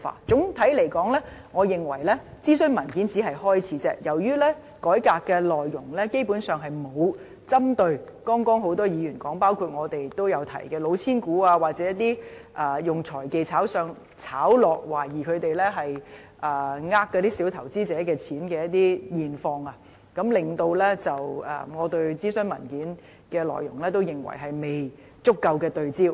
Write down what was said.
總的來說，我認為諮詢文件只是開始，由於改革內容基本上並沒有針對多位議員剛才提到，包括我們也有提到的"老千股"，或以財技炒上炒落，懷疑是欺騙小投資者的情況，令我認為諮詢文件的內容也是未有足夠對焦。